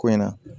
Ko in na